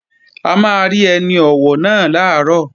A máa rí ẹni ọ̀wọ̀ náà làárọ̀